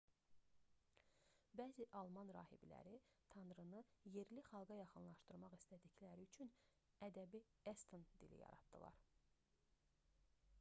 bəzi alman rahibləri tanrını yerli xalqa yaxınlaşdırmaq istədikləri üçün ədəbi eston dili yaratdılar